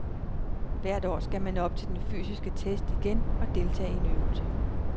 Hvert år skal man op til den fysiske test igen og deltage i en øvelse.